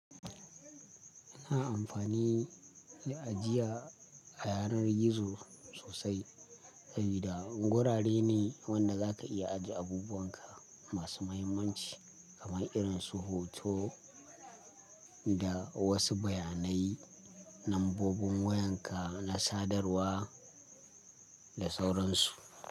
Ana amfani, da ajiya, a yanar gizo sosai, dai da gurare ne, wanda za ka iya ajiye abubuwan ka. Masu muhimmanci, kamar irin su hoto, da, wasu bayanai, nambobin wayan ka, na sadarwa, da sauran su.